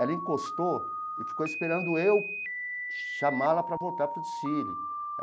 Ela encostou e ficou esperando eu chamá-la para voltar para o desfile.